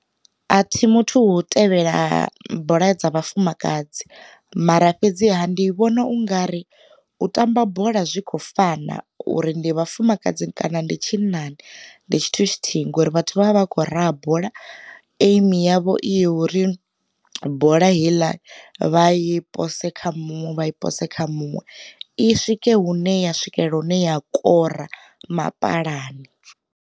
Athi muthu wo tevhela bola dza vhafumakadzi, mara fhedziha ndi vhona ungari u tamba bola zwi kho fana uri ndi vhafumakadzi kana ndi tshinnani ndi tshithu tshithihi ngori vhathu vha a vha khou raha bola eimi yavho i ya uri, bola heiḽa vha i pose kha muṅwe vha i pose kha muṅwe i swike hune ya swikelela hune ya kora mapalani.